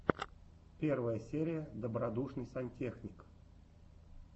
первая серия добродушный сантехник